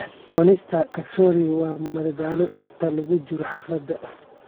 Cunista kachori waa madadaalo inta lagu jiro xafladda.